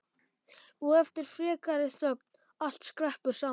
Og eftir frekari þögn: Allt skreppur saman